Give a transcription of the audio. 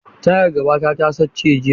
Tayata ta gaba ta sace jiya.